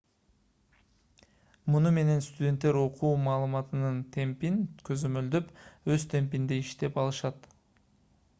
муну менен студенттер окуу маалыматынын темпин көзөмөлдөп өз темпинде иштей алышат